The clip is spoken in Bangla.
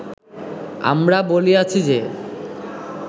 আমরা বলিয়াছি যে